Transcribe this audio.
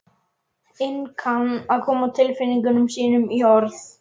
inn kann að koma tilfinningum sínum í orð.